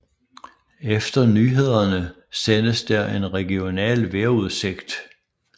Efter nyhederne sendes der en regional vejrudsigt